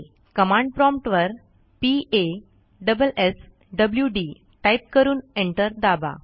command promptवर p a s s w dटाईप करून एंटर दाबा